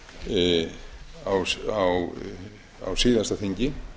þegar það var lagt fram á síðasta þingi